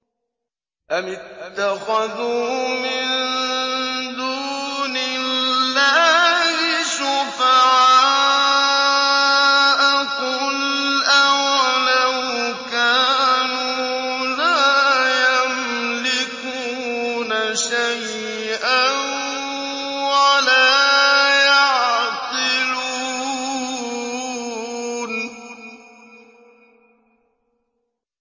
أَمِ اتَّخَذُوا مِن دُونِ اللَّهِ شُفَعَاءَ ۚ قُلْ أَوَلَوْ كَانُوا لَا يَمْلِكُونَ شَيْئًا وَلَا يَعْقِلُونَ